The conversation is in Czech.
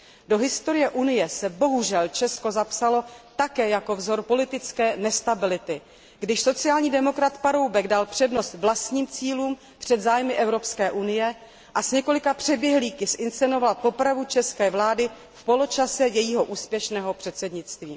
Do historie Unie se bohužel Česko zapsalo také jako vzor politické nestability, když sociální demokrat Paroubek dal přednost vlastním cílům před zájmy EU a s několika přeběhlíky zinscenoval popravu české vlády v poločase jejího úspěšného předsednictví.